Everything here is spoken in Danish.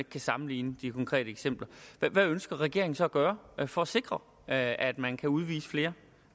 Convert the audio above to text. kan sammenligne de konkrete eksempler hvad ønsker regeringen så at gøre for at sikre at at man kan udvise flere